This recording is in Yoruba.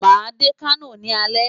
Màá dé Kano ní alẹ́.